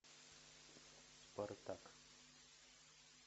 спартак